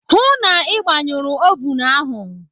Hụụ na Ị gbanyụrụ ovun ahụ.